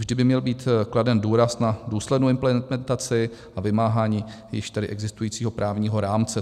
Vždy by měl být kladen důraz na důslednou implementaci a vymáhání již tedy existujícího právního rámce.